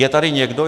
Je tady někdo?